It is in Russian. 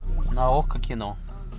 на окко кино